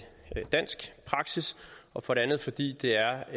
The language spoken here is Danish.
dansk praksis og for det andet fordi det er